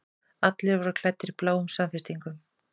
Allir voru klæddir bláum samfestingum.